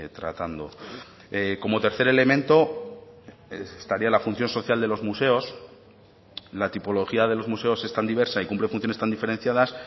tratando como tercer elemento estaría la función social de los museos la tipología de los museos es tan diversa y cumple funciones tan diferenciadas